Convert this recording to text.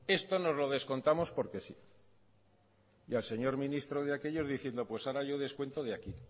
esto nos lo descontamos porque sí y al señor ministro de aquellos diciendo pues ahora yo descuento de aquí